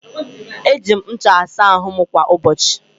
Eji m ncha asa ahụ m kwa ụbọchị.